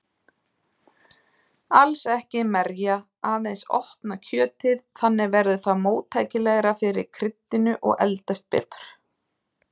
Alls ekki merja, aðeins opna kjötið, þannig verður það móttækilegra fyrir kryddinu og eldast betur.